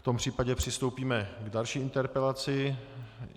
V tom případě přistoupíme k další interpelaci.